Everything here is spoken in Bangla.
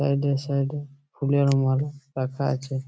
সাইড -এ সাইড -এ ফুলের মালা রাখা আছে।